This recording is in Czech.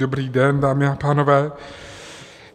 Dobrý den, dámy a pánové.